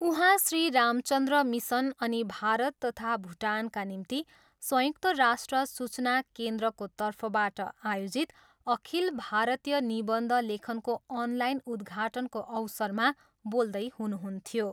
उहाँ श्री रामचन्द्र मिसन अनि भारत तथा भुटानका निम्ति संयुक्त राष्ट्र सूचना केन्द्रको तर्फबाट आयोजित अखिल भारतीय निबन्ध लेखनको अनलाइन उद्घाटनको अवसरमा बोल्दै हुनुहुन्थ्यो।